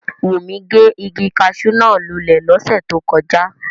Wunmi ge igi caṣú náa lulẹ lose to koja.